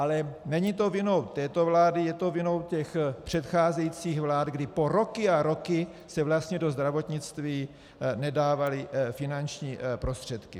Ale není to vinou této vlády, je to vinou těch předcházejících vlád, kdy po roky a roky se vlastně do zdravotnictví nedávaly finanční prostředky.